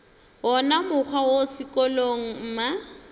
wona mokgwa wo sekolong mma